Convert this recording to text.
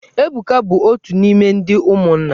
Ebuka bụ otu n'ime ndị ụmụnna.